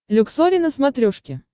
люксори на смотрешке